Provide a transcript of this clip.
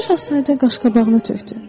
Balaca şahzadə qaşqabağını tökdü.